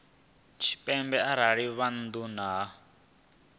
tshipembe arali vha nnḓa ha